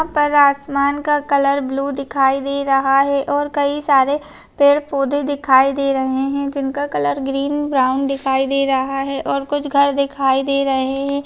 यहा पर असामान का कलर ब्लू दिखाई दे रहा है और कई सारे पेड़-पोधे दिखाई दे रहे है जिनका कलर ग्रीन ब्राउन दिखाई दे रहा है और कुछ घर दिखाई दे रहे है।